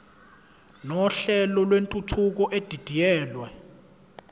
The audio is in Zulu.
nohlelo lwentuthuko edidiyelwe